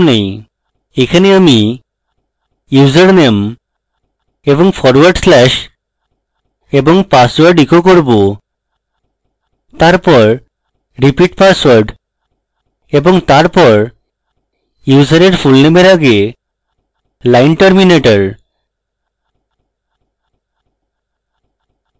এখানে আমি username এবং forward slash এবং password echo করব তারপর repeat password এবং তারপর ইউসারের fullname এর আগে line terminator